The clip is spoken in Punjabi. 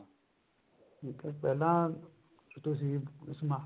ਠੀਕ ਐ ਪਹਿਲਾਂ ਤੁਸੀਂ ਸਮਾਨ